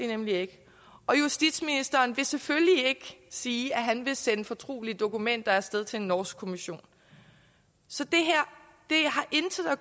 nemlig ikke og justitsministeren vil selvfølgelig ikke sige at han vil sende fortrolige dokumenter af sted til en norsk kommission så